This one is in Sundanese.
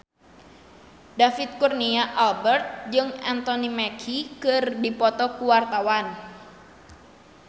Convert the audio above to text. David Kurnia Albert jeung Anthony Mackie keur dipoto ku wartawan